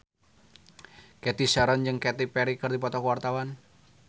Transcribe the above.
Cathy Sharon jeung Katy Perry keur dipoto ku wartawan